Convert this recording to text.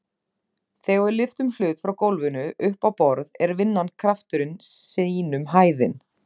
Þegar við lyftum hlut frá gólfinu upp á borð er vinnan krafturinn sinnum hæðin.